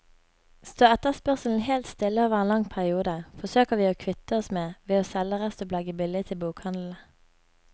Står etterspørselen helt stille over en lang periode, forsøker vi å kvitte oss med ved å selge restopplaget billig til bokhandlene.